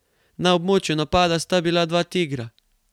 Na območju napada sta bila dva tigra.